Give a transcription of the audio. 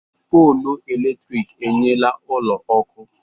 Pọlụ eletrik enyela ụlọ ọkụ.